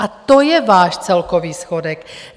A to je váš celkový schodek.